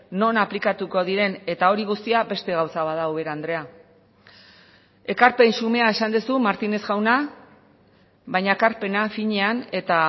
non aplikatuko diren eta hori guztia beste gauza bat da ubera andrea ekarpen xumea esan duzu martínez jauna baina ekarpena finean eta